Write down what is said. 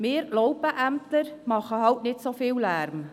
Wir Laupen-Ämtler machen eben nicht so viel Lärm.